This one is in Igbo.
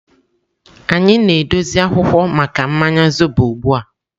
Anyị na-edozi akwụkwọ maka mmanya zobo ugbu a.